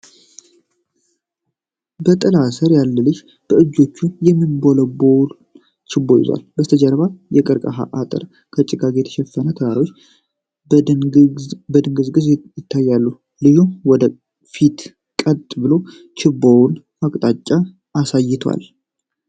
በጥላ ስር ያለ ልጅ በእጆቹ የሚንበለበል ችቦ ይዟል። ከበስተጀርባ የቀርከሃ አጥርና በጭጋግ የተሸፈኑ ተራሮች በድንግዝግዝ ይታያሉ። ልጁ ወደ ፊት ቀጥ ብሎ ችቦውን አቅጣጫ አሳይቷል።